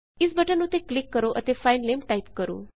ਇਸ ਬਟਨ ਉੱਤੇ ਕਲਿੱਕ ਕਰੋ ਅਤੇ ਫਾਇਲ ਨੇਮ ਟਾਇਪ ਕਰੋ